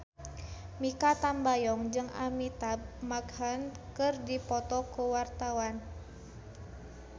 Mikha Tambayong jeung Amitabh Bachchan keur dipoto ku wartawan